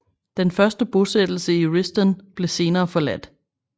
Den første bosættelse i Risdon blev senere forladt